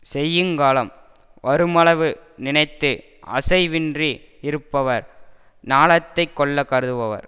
செய்யுங்காலம் வருமளவு நினைத்து அசைவின்றி யிருப்பவர் ஞாலத்தைக் கொள்ள கருதுபவர்